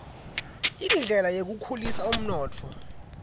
indlela yekukhulisa umnotfo